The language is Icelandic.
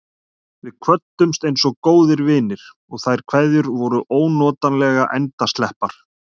Við kvöddumst einsog góðir vinir, og þær kveðjur voru ónotalega endasleppar.